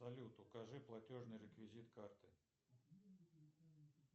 салют укажи платежный реквизит карты